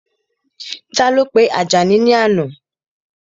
Ta ló pe Àjàní ní àná?